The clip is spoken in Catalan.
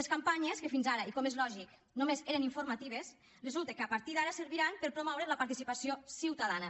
les campanyes que fins ara i com és lògic només eren informatives resulta que a partir d’ara serviran per promoure la participació ciutadana